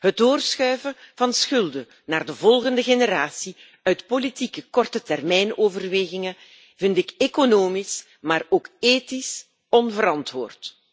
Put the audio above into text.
Het doorschuiven van schulden naar de volgende generatie uit politieke kortetermijnoverwegingen vind ik economisch maar ook ethisch onverantwoord.